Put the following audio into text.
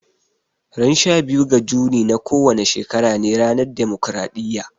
Ran sha biyu ga Juni na kowane shekara ne ranar demokaraɗiya